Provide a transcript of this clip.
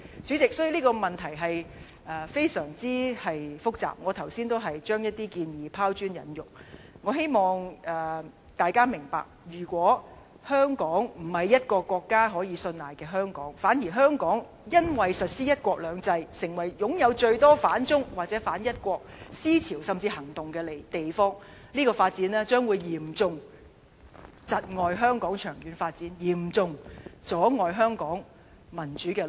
主席，這個問題非常複雜，我剛才只是將一些建議拋磚引玉，希望大家明白，如果香港不是一個國家可以信賴的香港，反而香港因為實施"一國兩制"，成為擁有最多反中、或是反一國思潮甚至行動的地方，這樣將會嚴重窒礙香港長遠發展，嚴重阻礙香港民主之路。